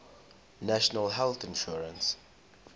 national health insurance